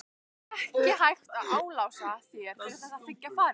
Ekki hægt að álasa þér fyrir að þiggja farið.